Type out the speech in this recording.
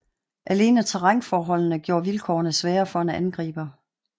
Alene terrænforholdende gjorde vilkårene svære for en angriber